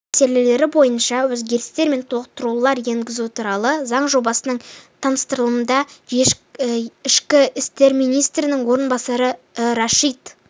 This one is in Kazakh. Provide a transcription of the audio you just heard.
мәселелері бойынша өзгерістер мен толықтырулар енгізу туралы заң жобасының таныстырылымында ішкі істер министрінің орынбасары рашид